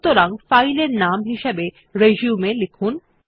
সুতরাং ফাইল এর নাম হিসেবে রিসিউম লিখুন